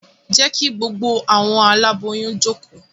Je ki gbogbo awọn aláboyún joko!